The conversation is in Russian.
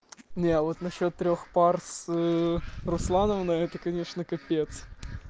не вот на счёт трёх пар с руслановной но это конечно капец